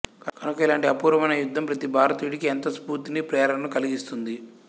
కనుక ఇలాంటి అపూర్వమైన యుద్ధం ప్రతి భారతీయుడికి ఎంతో స్ఫూర్తిని ప్రేరణను కలిగిస్తుంది